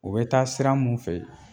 U bɛ taa sira mun fɛ